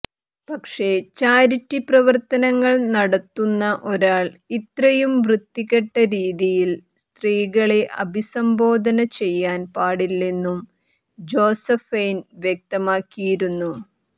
പക്ഷേ ചാരിറ്റി പ്രവർത്തനങ്ങൾ നടത്തുന്ന ഒരാൾ ഇത്രയും വൃത്തികെട്ട രീതിയിൽ സ്ത്രീകളെ അഭിസംബോധന ചെയ്യാൻ പാടില്ലെന്നും ജോസഫൈൻ വ്യക്താമക്കിയിരുന്നു